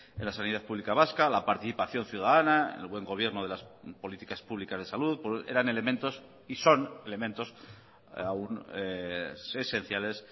en la sanidad publica vasca la participación ciudadana el buen gobierno de las políticas publicas de salud eran elementos y son elementos aun esenciales